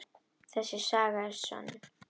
Þessi saga er sönn.